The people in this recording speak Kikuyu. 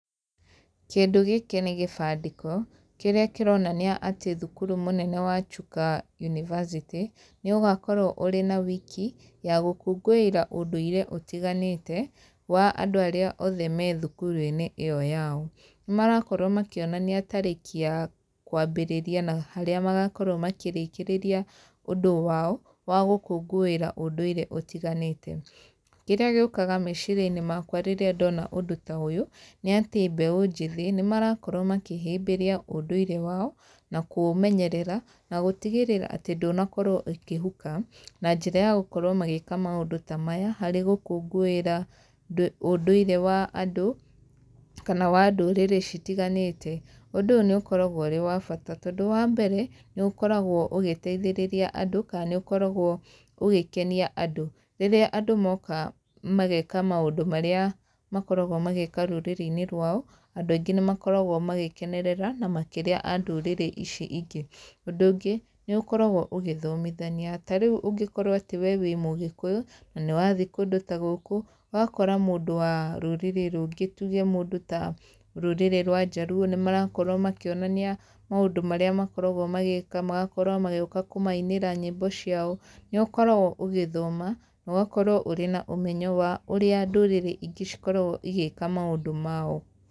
Kĩndũ gĩkĩ nĩ gĩbandĩko, kĩrĩa kĩronania atĩ thukuru mũnene wa Chuka unibacĩtĩ, nĩ ũgakorwo ũrĩ na wiki, ya gũkũngũĩra ũndũire ũtiganĩte, wa andũ arĩa othe me thukuru-inĩ ĩyo yao. Nĩ marakorwo makĩonania tarĩki ya kwambĩrĩria na harĩa magakorwo makĩrĩkĩrĩria ũndũ wao, wa gũkũngũĩra ũndũire ũtiganĩte. Kĩrĩa gĩũkaga meciria-inĩ makwa rĩrĩa ndona ũndũ ta ũyũ, nĩ atĩ mbeũ njĩthĩ, nĩ marakorwo makĩhĩmbĩria ũndũire wao, na kũũmenyerera, na gũtigĩrĩra atĩ ndũnakorwo ũkĩhuka, na njĩra ya gũkorwo magĩka maũndũ ta maya, harĩ gũkũngũĩra ũndũire wa andũ, kana wa ndũrĩrĩ citiganĩte. Ũndũ ũyũ nĩ ũkoragwo ũrĩ wa bata tondũ wa mbere, nĩ ũkoragwo ũgĩteithĩrĩria andũ ka nĩ ũkoragwo ũgĩkenia andũ. Rĩrĩa andũ moka mageka maũndũ marĩa makoragwo magĩka rũrĩrĩ-inĩ rwao, andũ aingĩ nĩ makoragwo magĩkenerera, na makĩria a ndũrĩrĩ ici ingĩ. Ũndũ ũngĩ, nĩ ũkoragwo ũgĩthomithania. Ta rĩu ũngĩkorwo atĩ we wĩ Mũgĩkũyũ, na nĩ wathi kũndũ ta gũkũ, ũgakora mũndũ wa rũrĩrĩ rũngĩ tuge mũndũ ta rũrĩrĩ rwa Njaluo, nĩ marakorwo makĩonania maũndũ marĩa makoragwo magĩka, magakorwo magĩũka kũmainĩra nyĩmbo ciao. Nĩ ũkoragwo ũgĩthoma, na ũgakorwo ũrĩ na ũmenyo wa ũrĩa ndũrĩrĩ ingĩ cikoragwo igĩka maũndũ mao.